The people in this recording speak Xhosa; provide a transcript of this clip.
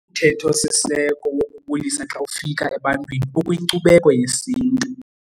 Umthetho-siseko wokubulisa xa ufika ebantwini ukwinkcubeko yesintu.